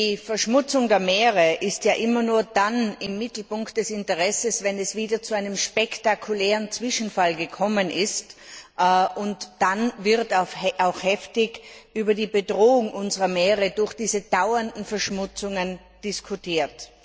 Die Verschmutzung der Meere ist immer nur dann im Mittelpunkt des Interesses, wenn es wieder zu einem spektakulären Zwischenfall gekommen ist, und dann wird auch heftig über die Bedrohung unserer Meere durch diese dauernden Verschmutzungen diskutiert.